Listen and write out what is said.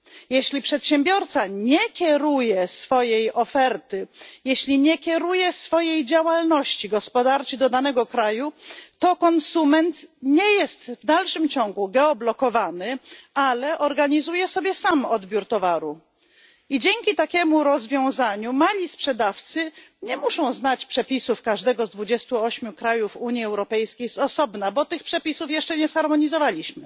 Jeśli przedsiębiorca nie kieruje swojej oferty, jeśli nie kieruje swojej działalności gospodarczej do danego kraju, to konsument nie jest w dalszym ciągu geoblokowany, ale organizuje sobie sam odbiór towaru, i dzięki takiemu rozwiązaniu mali sprzedawcy nie muszą znać przepisów każdego z 28 krajów Unii Europejskiej z osobna, bo tych przepisów jeszcze nie zharmonizowaliśmy.